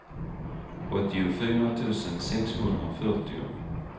åttiofyra tusen sexhundrafyrtio